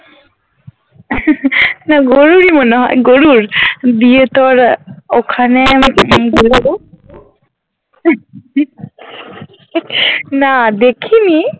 না গরুরই মনে হয় গরুর দিয়ে তোর ওখানে না দেখিনি